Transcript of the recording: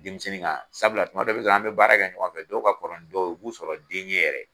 Denmisɛnnin kan sabula tuma dɔ bɛ sɔrɔ an bɛ baara kɛ ɲɔgɔnfɛ, dɔw ka kɔrɔ ni dɔw ye u b'u sɔrɔ den ye yɛrɛ.